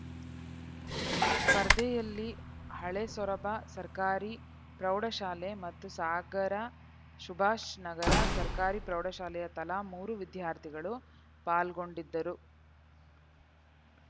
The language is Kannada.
ಸ್ಪರ್ಧೆಯಲ್ಲಿ ಹಳೆಸೊರಬ ಸರ್ಕಾರಿ ಪ್ರೌಢಶಾಲೆ ಮತ್ತು ಸಾಗರ ಸುಭಾಷ್‌ ನಗರ ಸರ್ಕಾರಿ ಪ್ರೌಢಶಾಲೆಯ ತಲಾ ಮೂರು ವಿದ್ಯಾರ್ಥಿಗಳು ಪಾಲ್ಗೊಂಡಿದ್ದರು